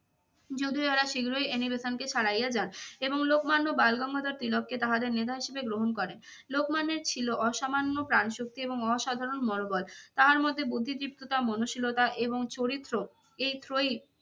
যদিও ইহারা শীঘ্রই অ্যানি বেসান্তকে ছাড়াইয়া যান এবং লোকমান্য বালগঙ্গাধর তিলক কে তাহাদের নেতা হিসেবে গ্রহণ করেন। লোকমান্যের ছিল অসামান্য প্রাণ শক্তি এবং অসাধারণ মনোবল। তাহার মধ্যে বুদ্ধিদীপ্ততা মনোশীলতা এবং চরিত্র এই ত্রয়ী